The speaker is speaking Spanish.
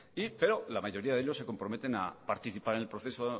pero la mayoría de ellos se comprometen a participar en el proceso